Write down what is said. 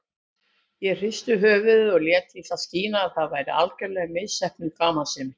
Ég hristi höfuðið og lét í það skína að þetta væri algerlega misheppnuð gamansemi.